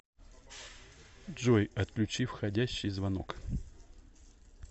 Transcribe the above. джой отключи входящий звонок